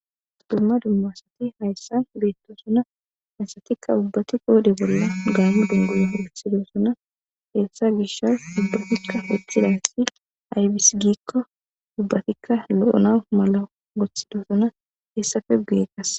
Dumma dumma asathi hayssan beeththoosona; haysathikka banththa bolla gaammo dungguza woyhyhidosona; heyssa miishshaka woththidathi aybissi giikko ubbathikka lo7anawu woththidosona; hessape guye qassi.